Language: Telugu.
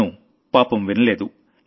తను పాపం వినలేదు